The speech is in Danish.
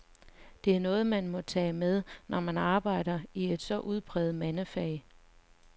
Det er noget, man må tage med, når man arbejder i et så udpræget mandefag.